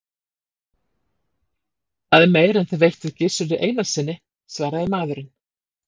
Það er meira en þið veittuð Gizuri Einarssyni, svaraði maðurinn.